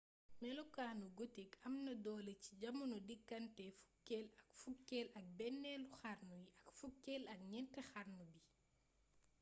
melokaanu gotik am na doole ci jamono diggante fukkeel ak fukkeel ak benneelu xarnu yi ak fukkel ak ñeent xarnu bi